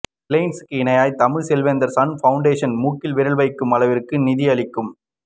ரிலையன்ஸ்க்கு இணையாய் தமிழக செல்வந்தர் சன் பௌண்டேஷன் மூக்கில் விரல் வைக்கும் அளவிற்கு நிதி அளிக்கும்